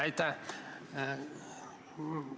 Aitäh!